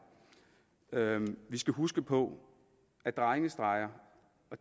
vi skal huske på at drengestreger